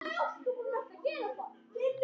Þú getur selt húsið þitt.